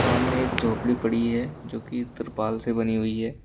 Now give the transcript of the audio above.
सामने एक झोपड़ी पड़ी है जो की तिरपाल से बनी हुई है।